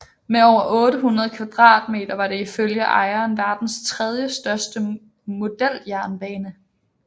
Med over 800 m² var det ifølge ejeren verdens tredjestørste modeljernbane